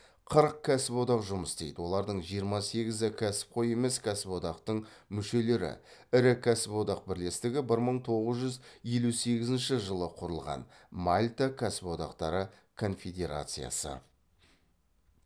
қырық кәсіподақ жұмыс істейді олардың жиырма сегізі кәсіпқой емес кәсіподақтың мүшелері ірі кәсіподақ бірлестігі бір мың тоғыз жүз елу сегізінші жылы құрылған мальта кәсіподақтары конфедерациясы